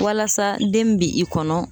Walasa den min bɛ i kɔnɔ ,